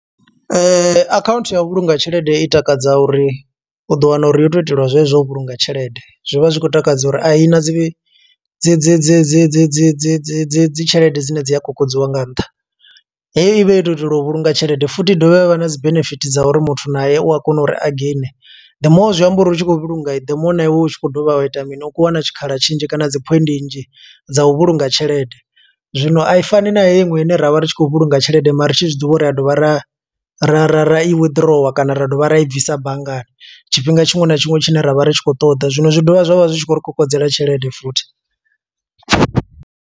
Account ya u vhulunga tshelede i takadza uri, u ḓo wana uri yo tou itelwa zwezwo u vhulunga tshelede. Zwi vha zwi khou takadza uri i na dzi dzi dzi dzi dzi dzi dzi dzi dzi dzi dzi tshelede dzine dzi a kokodziwa nga nṱha, heyo ivha yo tou itelwa u vhulunga tshelede, futhi i dovha ya vha na dzi benefit dza uri muthu nae u a kona uri a gain. The more zwi amba uri u tshi khou vhulunga, the more na iwe u tshi khou dovha wa ita mini? U khou wana tshikhala tshinzhi kana dzi phoindi nnzhi dza u vhulunga tshelede. Zwino a i fani na hei iṅwe ine ra vha ri tshi khou vhulunga tshelede mara ri tshi zwiḓivha uri ri a dovha ra ra ra ra i withdrawer, kana ra dovha ra i bvisa banngani. Tshifhinga tshiṅwe na tshiṅwe tshine ra vha ri tshi khou ṱoḓa. Zwino zwi dovha zwavha zwi tshi khou ri kokodzela tshelede futhi.